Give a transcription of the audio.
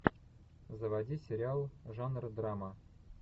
заводи сериал жанр драма